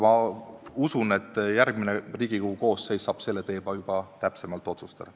Ma usun, et järgmine Riigikogu koosseis saab seda juba täpsemalt otsustada.